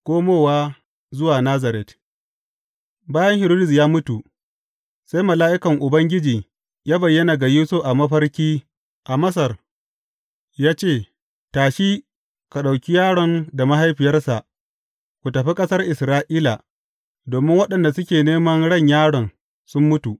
Komowa zuwa Nazaret Bayan Hiridus ya mutu, sai mala’ikan Ubangiji ya bayyana ga Yusuf a mafarki a Masar, ya ce, Tashi, ka ɗauki yaron da mahaifiyarsa ku tafi ƙasar Isra’ila, domin waɗanda suke neman ran yaron sun mutu.